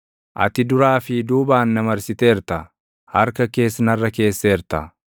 Ati duraa fi duubaan na marsiteerta; harka kees narra keesseerta.